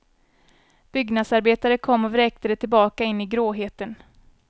Byggnadsarbetare kom och vräkte det tillbaka in i gråheten.